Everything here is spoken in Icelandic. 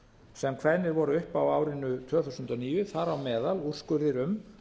sem kveðnir voru upp á árinu tvö þúsund og níu þar á meðal úrskurðir um